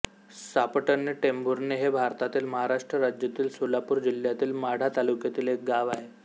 सापटणे टेंभुर्णी हे भारतातील महाराष्ट्र राज्यातील सोलापूर जिल्ह्यातील माढा तालुक्यातील एक गाव आहे